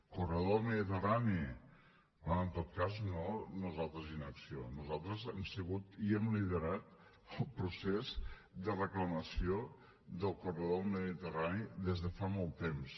corredor mediterrani bé en tot cas no nosaltres inacció nosaltres hem sigut i hem liderat el procés de reclamació del corredor mediterrani des de fa molt temps